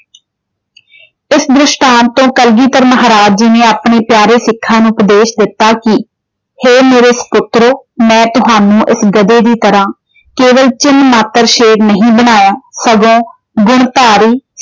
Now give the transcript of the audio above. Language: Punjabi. ਇਸ ਦ੍ਰਿਸ਼ਟਾਂਤ ਤੋਂ ਕਲਗੀਧਰ ਮਹਾਰਾਜ ਜੀ ਨੇ ਆਪਣੇੇ ਪਿਆਰੇ ਸਿੱਖਾਂ ਨੂੰ ਉਪਦੇਸ਼ ਦਿੱਤਾ ਕਿ ਹੇ ਮੇਰੇ ਸਪੁੱਤਰੋ ਮੈਂ ਤੁਹਾਨੂੰ ਇਸ ਗਧੇ ਦੀ ਤਰਾਂ ਕੇਵਲ ਚਿੰਨ੍ਹ ਮਾਤਰ ਸ਼ੇਰ ਨਹੀਂ ਬਣਾਇਆ ਸਗੋਂ ਗੁਣਧਾਰੀ।